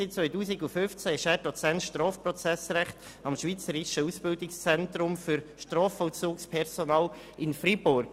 Seit 2015 ist er zudem Dozent für Strafprozessrecht am Schweizerischen Ausbildungszentrum für Strafvollzugspersonal in Freiburg.